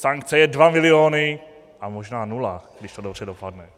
Sankce je dva miliony a možná nula, když to dobře dopadne.